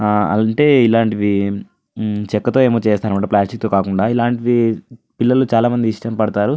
అంటే ఇలాంటిది చెక్కతో ఏమో చేస్తారు అనుకుంట ప్లాస్టిక్ తో కాకుండా. ఇలాంటివి పిల్లలు చాల మంది ఇష్టం పాడుతారు.